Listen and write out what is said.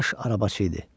Baş arabaçı idi.